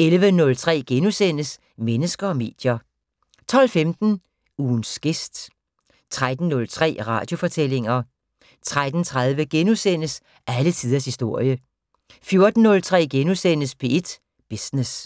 11:03: Mennesker og medier * 12:15: Ugens gæst 13:03: Radiofortællinger 13:30: Alle tiders historie * 14:03: P1 Business *